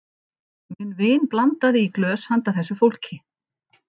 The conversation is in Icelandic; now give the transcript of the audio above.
Minn vin blandaði í glös handa þessu fólki.